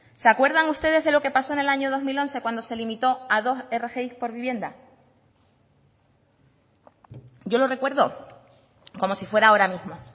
se acuerdan ustedes de lo que pasó en el año dos mil once cuando se limitó a dos rgi por vivienda yo lo recuerdo como si fuera ahora mismo